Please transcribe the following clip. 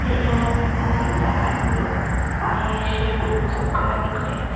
यह में बहुत ज्यादा आदमी लोग आए हैं शेविंग सब कराने के लिए।